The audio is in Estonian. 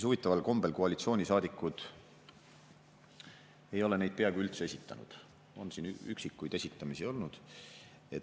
Huvitaval kombel koalitsioonisaadikud ei ole neid peaaegu üldse esitanud – on vaid üksikuid esitamisi olnud.